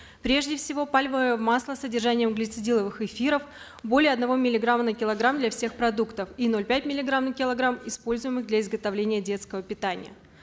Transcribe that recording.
прежде всего пальмовое масло с содержанием глицидиловых эфиров более одного миллиграмма на килограмм для всех продуктов и ноль пять миллиграмм на киллограмм используемых для изготовления детского питания